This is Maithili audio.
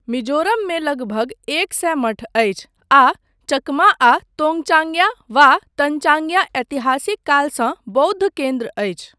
मिजोरममे लगभग एक सए मठ अछि आ चकमा आ तोङ्गचाङ्ग्या वा तन्चाङ्ग्या ऐतिहासिक कालसँ बौद्ध केन्द्र अछि।